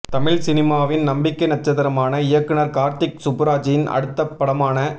தமிழ் சினிமாவின் நம்பிக்கை நட்சத்திரமான இயக்குநர் கார்த்திக் சுப்புராஜின் அடுத்தப் படமான